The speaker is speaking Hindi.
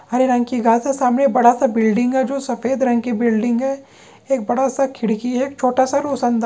हरे रंग की घास हैं सामने बड़ा सा बिल्डिंग हैं जो सफेद रंग की बिल्डिंग हैं एक बड़ा सा खिड़की हैं एक छोटा सा रोशनदा--